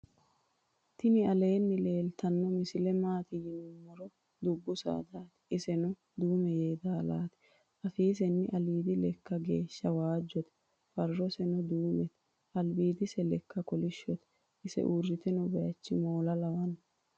tini aleni leltano misile maati yiinumoro. dubu sadati .iseno duume yeedalati. afiseni alidi leeka gwesha wajote. farose no duunete. alibidise leeka kolishote. ise uritino bayichi moola lawano.k